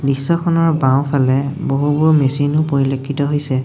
দৃশ্যখনৰ বাওঁফালে বহুবোৰ মেচিন পৰিলক্ষিত হৈছে।